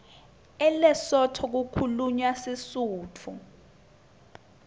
elesotho kukhulunywa sisutfu